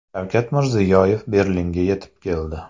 Shavkat Mirziyoyev Berlinga yetib keldi .